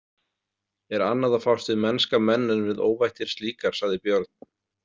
Er annað að fást við mennska menn en við óvættir slíkar, sagði Björn.